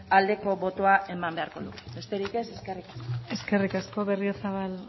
aldeko botoa eman beharko luke besterik ez eskerrik asko eskerrik asko berriozabal